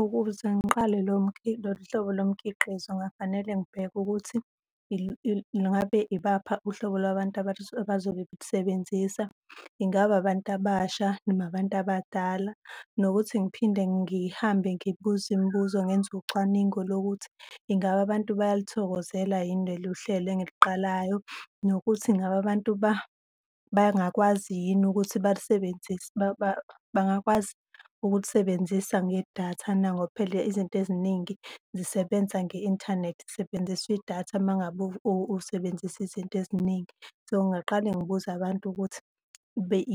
Ukuze ngiqale lo lolu hlobo lomkhiqizo kungafanele ngibheke ukuthi ngabe yibaphi uhlobo lwabantu abazolusebenzisa. Ingabe abantu abasha noma abantu abadala? Nokuthi ngiphinde ngihambe ngibuze imibuzo ngenze ucwaningo lokuthi ingabe abantu bayaluthokozela yini leluhlelo engiliqalayo nokuthi ingabe abantu bangakwazi yini ukuthi balisebenzise bangakwazi ukulisebenzisa ngedatha na, ngoba phela izinto eziningi zisebenza nge-inthanethi, kusebenziswa idatha uma ngabe usebenzisa izinto eziningi. So, ngingaqale ngibuze abantu ukuthi